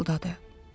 pıçıldadı.